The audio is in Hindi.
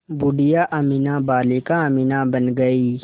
बूढ़िया अमीना बालिका अमीना बन गईं